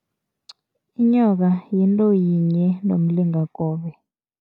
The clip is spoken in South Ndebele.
Inyoka yonto yinye nomlingakobe.